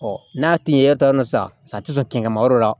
n'a tiɲɛn'e taar'o nɔ san sa ti sɔn kɛnkɛ ma yɔrɔ la